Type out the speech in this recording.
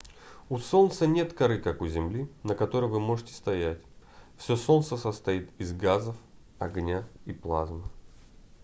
у солнца нет коры как у земли на которой вы можете стоять всё солнце состоит из газов огня и плазмы